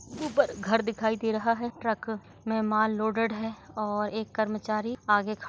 ऊपर घर दिखाई दे रहा है ट्रक में माल लोडेड है और एक कर्मचारी आगे ख--